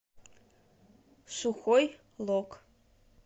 сухой лог